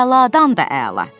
Əladan da əla.